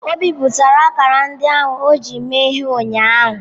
O bipụtara akara ndị ahụ o ji mee ihe ụnyaahụ.